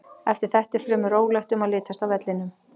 Eftir þetta er fremur rólegt um að litast á vellinum.